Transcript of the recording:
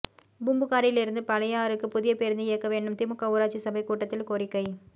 பூம்புகாரிலிருந்து பழையாறுக்கு புதிய பேருந்து இயக்க வேண்டும் திமுக ஊராட்சி சபை கூட்டத்தில் கோரிக்கை